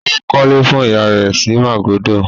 Ó kọ́lé fún ìyá rẹ̀ sí Màgódò?